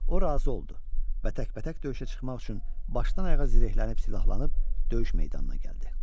O razı oldu və təkbətək döyüşə çıxmaq üçün başdan ayağa zirehlənib silahlanıb döyüş meydanına gəldi.